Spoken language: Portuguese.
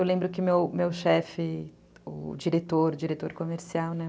Eu lembro que meu chefe, o diretor, diretor comercial, né?